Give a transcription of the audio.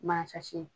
Mansa